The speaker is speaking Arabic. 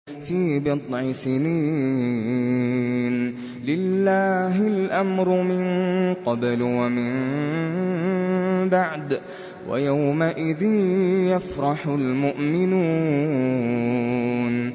فِي بِضْعِ سِنِينَ ۗ لِلَّهِ الْأَمْرُ مِن قَبْلُ وَمِن بَعْدُ ۚ وَيَوْمَئِذٍ يَفْرَحُ الْمُؤْمِنُونَ